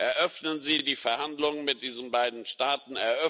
Eröffnen Sie die Verhandlungen mit diesen beiden Staaten!